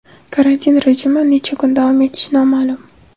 Karantin rejimi necha kun davom etishi noma’lum.